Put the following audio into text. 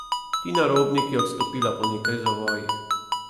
Tina Robnik je odstopila po nekaj zavojih.